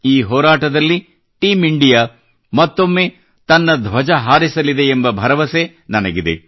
ಈ ಹೋರಾಟದಲ್ಲಿ team India ಮತ್ತೊಮ್ಮೆ ತಮ್ಮ ಧ್ವಜ ಹಾರಿಸಲಿದೆಯೆಂಬ ಭರವಸೆ ನನಗಿದೆ